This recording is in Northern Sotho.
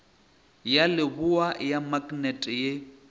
ya leboa ya maknete ye